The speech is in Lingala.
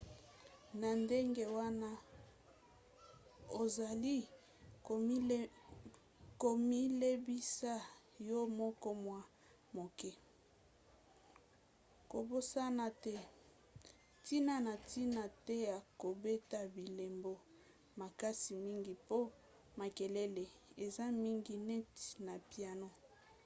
na ndenge wana ozali komilembisa yo moko mwa moke. kobosana te ntina na ntina te ya kobeta bilembo makasi mingi mpo makelele eza mingi neti na piano